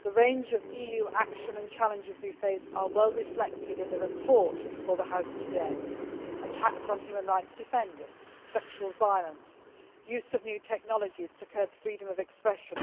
The range of EU action and challenges we face are well reflected in the report before the House today attacks on human rights defenders, sexual violence, use of new technologies to curb freedom of expression,